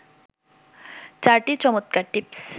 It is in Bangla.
৪টি চমৎকার টিপস